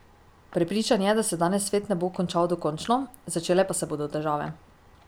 Prepričan je, da se danes svet ne bo končal dokončno, začele pa se bodo težave.